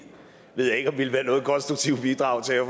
ved jeg ikke om ville være noget konstruktivt bidrag til at